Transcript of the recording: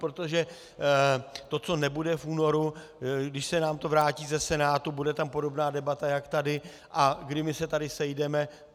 Protože to, co nebude v únoru, když se nám to vrátí ze Senátu, bude tam podobná debata, jak tady a kdy my se tady sejdeme...